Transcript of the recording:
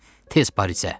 Tez Parisə!